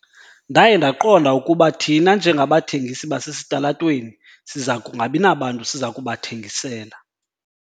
Ndaye ndaqonda ukuba thina njengabathengisi basesitalatweni siza kungabi nabantu siza kubathengisela.